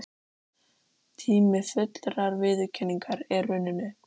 Tími fullrar viðurkenningar er runninn upp.